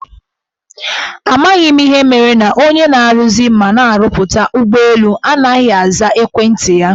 Amaghị m ihe mere na onye na-aruzi mana na-arụpụta ụgbọelu anaghị aza ekwenti anyị.